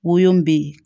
Wo bɛ ye